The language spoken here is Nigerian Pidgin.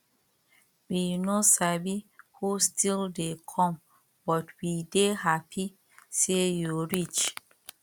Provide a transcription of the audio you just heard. we no sabi who still dey come but we dey happy say you reach